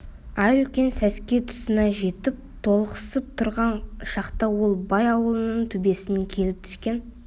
ай үлкен сәске тұсына жетіп толықсып тұрған шақта ол бай ауылының төбесінен келіп түскен